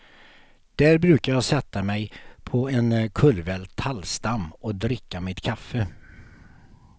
Där brukar jag sätta mig på en kullvält tallstam och dricka mitt kaffe.